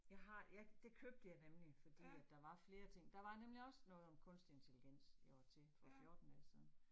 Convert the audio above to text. Jeg har. Jeg, det købte jeg nemlig fordi at der var flere ting. Der var nemlig også noget om kunstig intelligens, jeg var til for 14 dage siden